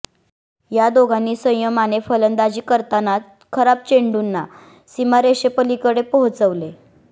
या दोघांनी संयमाने फलंदाजी करतानाच खराब चेंडूंना सीमारेषेपलीकडे पोहोचवले